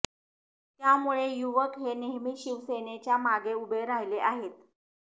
त्यामुळे युवक हे नेहमीच शिवसेनेच्या मागे उभे राहिले आहेत